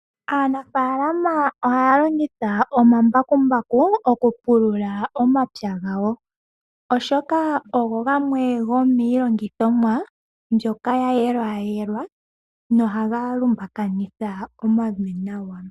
Aanafaalama ohaya longitha omambakumbaku okupulula omapya gawo oshoka, ogo gamwe gomiilongithomwa mbyoka yayelwayelwa na ohaga lumbakanitha omavi nawa.